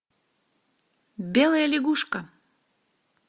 белая лягушка